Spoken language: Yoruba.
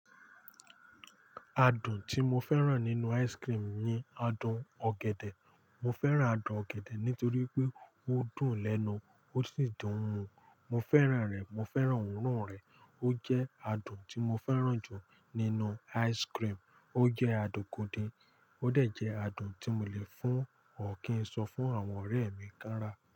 Adùn tí mo fẹ́ràn nínú ice cream ni adùn ọ̀gẹ̀dẹ̀. Mo fẹ́ràn adùn ọ̀gẹ̀dẹ̀ nítorí pé ó dùn lẹ́nu, ó sì dùn òun. Mo fẹ́ràn rẹ̀, mo fẹ́ràn òórùn rẹ̀. Ó jẹ́ adùn tí mo fẹ́ràn jù nínú ice cream. Ó jẹ́ adùn gidi, óò dẹ̀ jẹ́ adùn tí mo lè fún ọ̀ kí n sọ fún àwọn ọ̀rẹ́ mi kára.